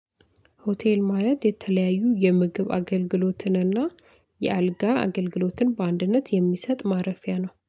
ሆቴል ማለት የተለያዩ የምግብ አገልግሎትንና የአልጋ አገልግሎትን በአንድነት የሚሰጥ ማረፊያ ነው